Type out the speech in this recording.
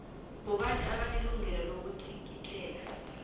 bobani abanelungelo lokutlikitlela